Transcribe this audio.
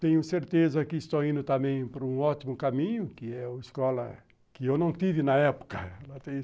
Tenho certeza que estou indo também para um ótimo caminho, que é a escola que eu não tive na época.